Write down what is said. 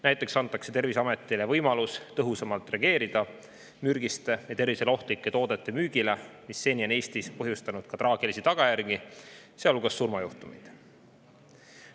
Näiteks antakse Terviseametile võimalus tõhusamalt reageerida, kui müüakse mürgiseid või tervisele ohtlikke tooteid, mis on Eestis põhjustanud ka traagilisi tagajärgi, sealhulgas surmajuhtumeid.